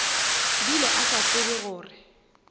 bile a sa tsebe gore